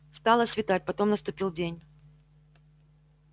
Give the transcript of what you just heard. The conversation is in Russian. стало светать потом наступил день